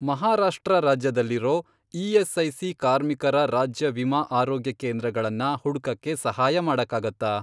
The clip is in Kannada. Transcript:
ಮಹಾರಾಷ್ಟ್ರ ರಾಜ್ಯದಲ್ಲಿರೋ ಇ.ಎಸ್.ಐ.ಸಿ. ಕಾರ್ಮಿಕರ ರಾಜ್ಯ ವಿಮಾ ಆರೋಗ್ಯಕೇಂದ್ರಗಳನ್ನ ಹುಡ್ಕಕ್ಕೆ ಸಹಾಯ ಮಾಡಕ್ಕಾಗತ್ತಾ?